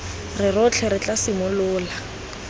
re rotlhe re tla simolola